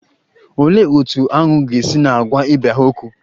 Olee otú aṅu ga-esi na-agwa ibe ha okwu?